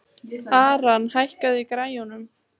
Aran, hækkaðu í græjunum.